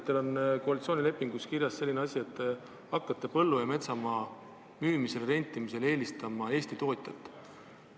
Teil on koalitsioonilepingus kirjas, et te hakkate põllu- ja metsamaa müümisel ja rentimisel eelistama Eesti tootjat.